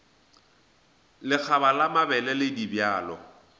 lekgaba la mabele le dibjalo